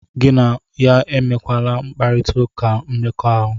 Gị na ya enwekwala mkparita ụka nke mmekọahụ.